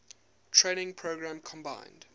training program combined